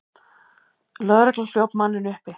Lögregla hljóp manninn uppi.